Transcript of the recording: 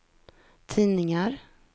tidningar